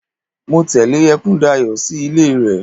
Mo tẹle Ekundayo sí ilé rẹ.